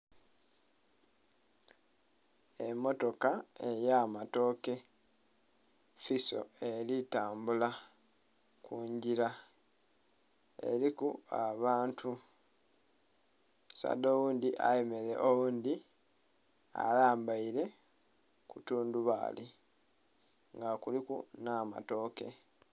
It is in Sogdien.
Emmotoka ey'amatooke fiso elitambula ku ngila. Eliku abantu. Omusaadha oghundhi ayemeleile oghundhi alambaire ku tundhubaali nga kuliku nh'amatooke.